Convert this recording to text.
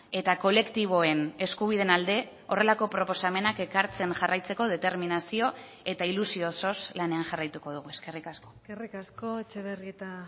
eta kolektiboen eskubideen alde horrelako proposamenak ekartzen jarraitzeko determinazio eta ilusio osoz lanean jarraituko dugu eskerrik asko eskerrik asko etxebarrieta